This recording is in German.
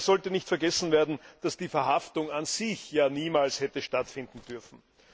Dabei sollte nicht vergessen werden, dass die Verhaftung an sich ja niemals hätte stattfinden dürfen.